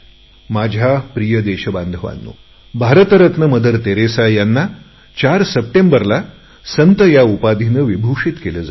माझ्या प्रिय देशबांधवांनो भारत रत्न मदर तेरेसा यांना 4 सप्टेंबरला संत उपाधीने विभूषित केले जाईल